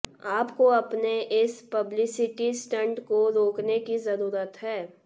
आपको अपने इस पब्लिसिटी स्टंट को रोकने की जरूरत है